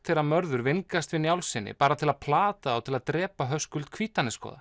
þegar Mörður vingast við Njálssyni bara til að plata þá til að drepa Höskuld